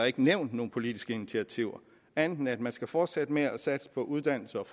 ikke nævnt nogen politiske initiativer andet end at man skal fortsætte med at satse på uddannelse og